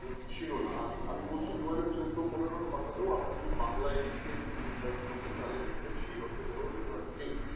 ছিল না আমি আমি বলছি দু হাজার চোদ্দ পনেরর কথাতেও যদি আপনি বাংলায় লিখে Google এ search করতেন তাহলে দেখতেন সেই অর্থে কোন revert নেই